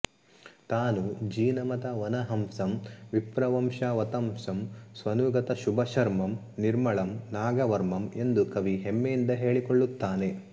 ತಾನು ಜಿನಮತವನಹಂಸಂ ವಿಪ್ರವಂಶಾವತಂಸಂ ಸ್ವನುಗತ ಶುಭಶರ್ಮಂ ನಿರ್ಮಳಂ ನಾಗವರ್ಮಂ ಎಂದು ಕವಿ ಹೆಮ್ಮೆಯಿಂದ ಹೇಳಿಕೊಳ್ಳುತ್ತಾನೆ